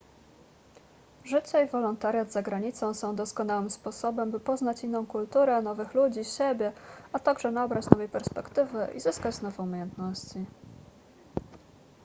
życie i wolontariat za granicą są doskonałym sposobem by poznać inną kulturę nowych ludzi siebie a także nabrać nowej perspektywy i zyskać nowe umiejętności